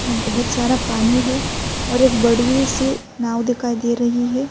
بھوت سارا پانی ہے اور ایک بڑی سی ناؤ دکھائی دے رہی ہے۔